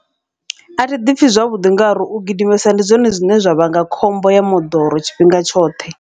Athi ḓipfhi zwavhuḓi, ngauri u gidimesa ndi zwone zwine zwa vhanga khombo ya moḓoro tshifhinga tshoṱhe.